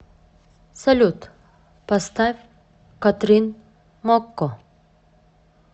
салют поставь катрин мокко